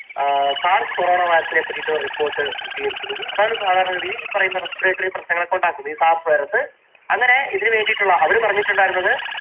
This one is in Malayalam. sars corona virus നെ പറ്റിയിട്ട് ഒരു report പ്രസിദ്ധീകരിച്ചിരുന്നു. അതാണ് സാധാരണ ഗതിയിൽ ഈ പറയുന്ന respiratory പ്രശ്നങ്ങളൊക്കെ ഉണ്ടാക്കുന്നത്. ഈ SARS virus ങ്ങനെ ഇതിനു വേണ്ടിയിട്ടുള്ള, അവർ പറഞ്ഞിട്ടുണ്ടായിരുന്നത്